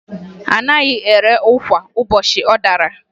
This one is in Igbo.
A naghị ere ụkwa ụbọchị ọ dara